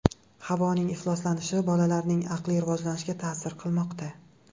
Havoning ifloslanishi bolalarning aqliy rivojlanishiga ta’sir qilmoqda.